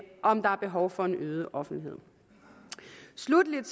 om der er behov for en øget offentlighed sluttelig er